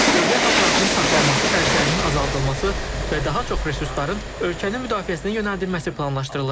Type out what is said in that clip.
Dövlət aparatının saxlanması xərclərinin azaldılması və daha çox resursların ölkənin müdafiəsinə yönəldilməsi planlaşdırılır.